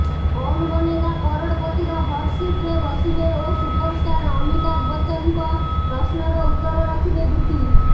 କୌନ୍ ବନେଗା କରୋଡପତିର ହଟ୍ ସିଟରେ ବସିବେ ଓ ସୁପରଷ୍ଟାର ଅମିତାଭ ବଚ୍ଚନଙ୍କ ପ୍ରଶ୍ନର ଉତ୍ତର ରଖିବେ ଦୂତି